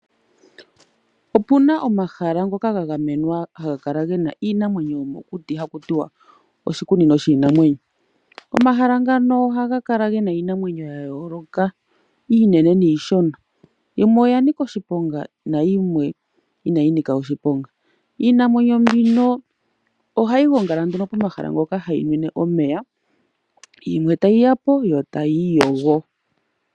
Opuna omahala ngoka ga gamenwa haga kala gena iinamwenyo yomokuti haku tiwa oshikunino shiinamwenyo. Omahala ngano ohaga kala gena iinamwenyo ya yooloka iinene niishona. Yimwe oya nika oshiponga nayimwe inayi nika oshiponga. Iinamwenyo mbino ohayi gongala nduno pomahala mpono hayi nwine omeya yimwe tayiya po yo tayi iyogo.